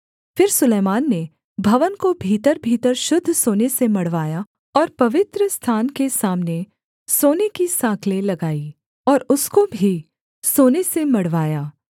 फिर सुलैमान ने भवन को भीतरभीतर शुद्ध सोने से मढ़वाया और पवित्रस्थान के सामने सोने की साँकलें लगाई और उसको भी सोने से मढ़वाया